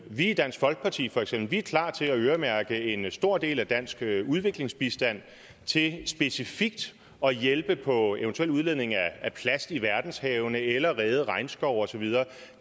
i dansk folkeparti er for eksempel klar til at øremærke en stor del af dansk udviklingsbistand til specifikt at hjælpe på eventuelt udledningen af plast i verdenshavene eller at redde regnskove og så videre